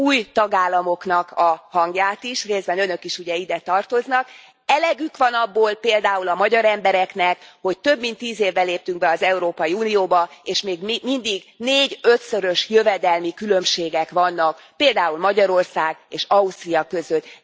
új tagállamoknak a hangját is, részben Önök is ugye ide tartoznak, elegük van abból például a magyar embereknek, hogy több mint tíz éve léptünk be az Európai Unióba, és még mindig négy ötszörös jövedelmi különbségek vannak, például Magyarország és Ausztria között.